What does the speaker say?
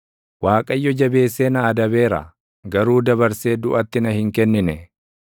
Waaqayyo jabeessee na adabeera; garuu dabarsee duʼatti na hin kennine.